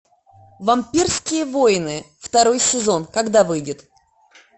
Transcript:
вампирские войны второй сезон когда выйдет